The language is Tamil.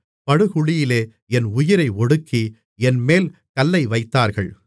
படுகுழியிலே என் உயிரை ஒடுக்கி என்மேல் கல்லை வைத்தார்கள்